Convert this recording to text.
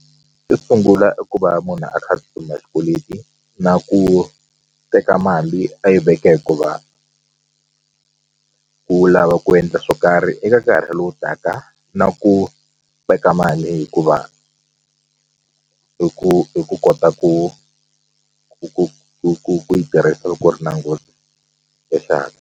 Xo sungula i ku va munhu a kha a xikweleti na ku teka mali a yi veka hikuva u lava ku endla swo karhi eka nkarhi lowu taka na ku veka mali hikuva i ku i ku kota ku ku ku ku ku ku yi tirhisa loko u ri na nghozi ya xihatla.